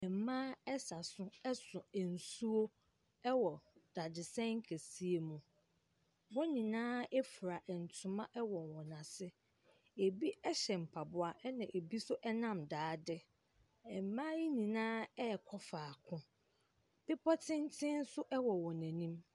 Mmaa sa so so nsuo wɔ dadesɛn kɛseɛ mu. Wɔn nyinaa fira ntoma wɔ wɔn ase. Ɛbi hyɛ mpaboa, ɛna ɛbi nso nam daade. Mmaa yi nyinaa rekɔ faako. Bepɔ tenten nso wɔ wɔn anim.